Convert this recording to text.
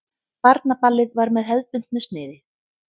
Barnaballið var með hefðbundnu sniði.